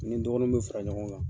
Ni n dɔgɔninw bɛ fara ɲɔgɔn kan.